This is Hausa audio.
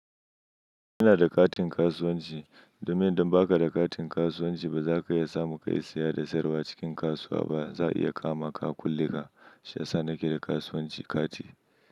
Ina da katin kasuwanci, domin idan baka da katin kasuwanci ba zaka iya samu kayi siya da siyarwa acikin kasuwa ba. Za a iya kamaka a kulle ka Shi yasa nake da kasuwanci kati.